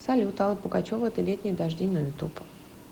салют алла пугачева эти летние дожди на ютуб